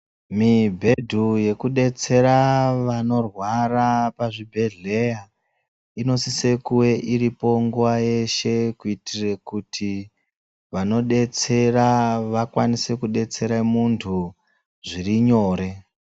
Mibhedhu yekudetsera vanorwara pazvibhedhleya, inosise kuve iripo nguva yeshe kuitire kuti, vanodetsera vakwanise kudetsera muntu, zviri nyore.